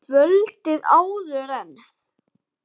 Kvöldið áður en